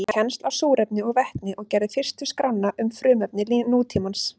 Hann bar kennsl á súrefni og vetni og gerði fyrstu skrána um frumefni nútímans.